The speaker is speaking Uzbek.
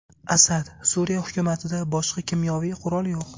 Asad: Suriya hukumatida boshqa kimyoviy qurol yo‘q.